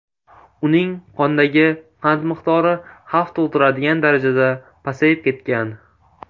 Uning qondagi qand miqdori xavf tug‘diradigan darajada pasayib ketgan.